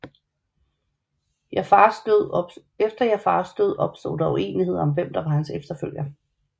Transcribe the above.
Efter Jaʿfars død opstod der uenigheder om hvem der var hans efterfølger